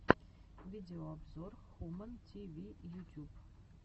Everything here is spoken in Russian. видеообзор хумэн ти ви ютюб